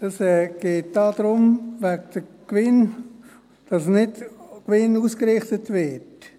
der SiK. Es geht darum, dass nicht nach Gewinn ausgerichtet wird.